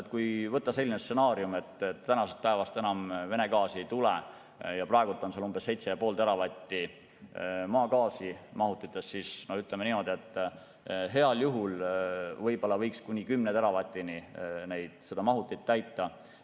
Ja kui võtta selline stsenaarium, et tänasest päevast enam Vene gaasi ei tule ja praegu on seal umbes 7,5 teravatti maagaasi mahutites, siis ütleme niimoodi, et heal juhul võib-olla võiks kuni 10 teravatini selle mahuti täita.